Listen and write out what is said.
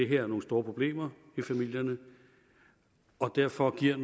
her er nogle store problemer i familierne og derfor er